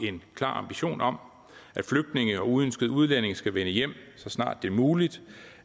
en klar ambition om at flygtninge og uønskede udlændinge skal vende hjem så snart det er muligt